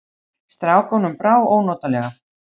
Strákunum brá ónotalega.